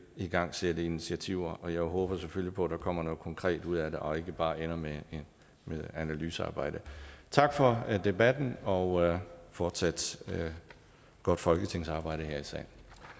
igangsætte initiativer og jeg håber selvfølgelig på at der kommer noget konkret ud af det og ikke bare ender med analysearbejdet tak for debatten og fortsat godt folketingsarbejde her i salen